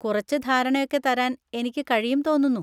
കുറച്ച് ധാരണയൊക്കെ തരാൻ എനിക്ക് കഴിയും തോന്നുന്നു.